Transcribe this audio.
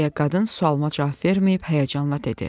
deyə qadın sualıma cavab verməyib həyəcanla dedi.